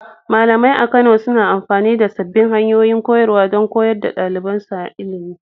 Malamai a Kano suna amfani da sabbin hanyoyin koyarwa don koyar da ɗalibansu ilimi.